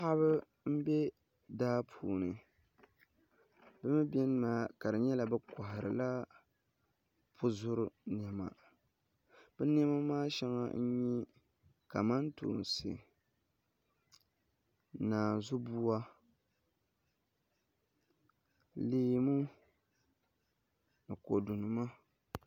Paɣaba n bɛ daa puuni bi mii biɛni maa ka di nyɛla bi koharila puzuri niɛma bi niɛma maa shɛŋa n nyɛ kamantoosi naanzu buwa leemu ni kodu nima